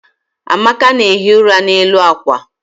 amaka na-ehi ụra n'elu akwa.